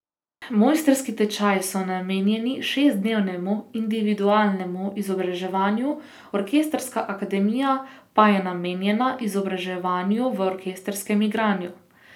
Mojstrski tečaji so namenjeni šestdnevnemu individualnemu izobraževanju, orkestrska akademija pa je namenjena izobraževanju v orkestrskem igranju.